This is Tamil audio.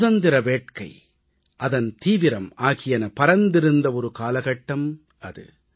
சுதந்திர வேட்கை அதன் தீவிரம் ஆகியன பரந்திருந்த ஒரு காலகட்டம் அது